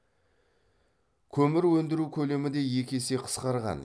көмір өндіру көлемі де екі есеге қысқарған